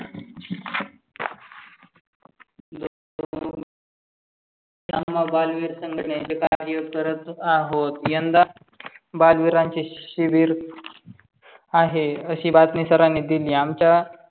बालविर संघटणचे कार्य करत आहोत यंदा बालविरचे शेत शिवीर आहे. अशी बातमी सर्वानी दिली आमच्या